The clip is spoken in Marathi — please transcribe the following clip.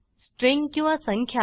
स्ट्रिंग किंवा संख्या